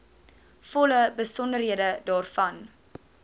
volle besonderhede daarvan